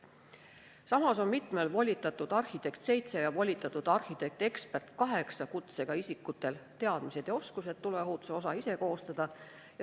Samas on mitmel volitatud arhitekti ja volitatud arhitekt-eksperdi kutsega isikutel teadmised ja oskused tuleohutuse osa ise koostada.